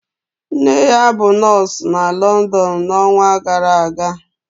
Nne ya bụ nọọsụ na London n'ọnwa gara aga